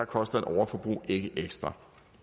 koster et overforbrug ikke ekstra